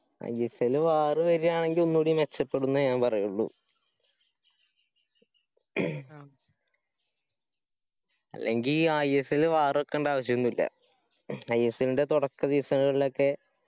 ISLwar വര്യണെങ്കി ഒന്നുടെ മെച്ചപ്പെടും ന്നേ ഞാൻ പറയുള്ളു ഹും അല്ലെങ്കി ISLwar വെക്കേണ്ട ആവശ്യോന്നുല്ല. ISL ന്റെ തുടക്ക season കളിലൊക്കെ